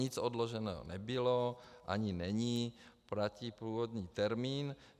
Nic odloženo nebylo ani není, platí původní termín.